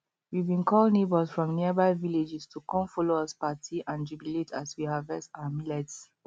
we bin call neighbors from nearby vilaages to come follow us party and jubilate as we harvest our millets